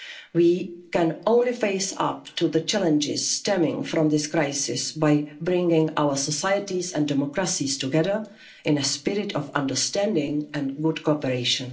of power. We can only face up to the challenges stemming from this crisis by bringing our societies and democracies together in a spirit of understanding and good cooperation.